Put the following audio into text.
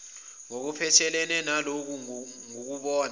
ngokuphathelene naloku ngokubona